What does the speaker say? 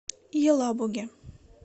елабуге